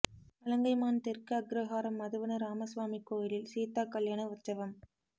வலங்கைமான் தெற்கு அக்ரஹாரம் மதுவன ராமசுவாமி கோயிலில் சீதா கல்யாண உற்சவம்